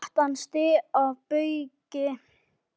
brattan stíg að baugi